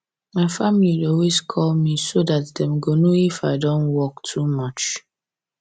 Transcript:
my family dey always call me so that dem go know if i don work too much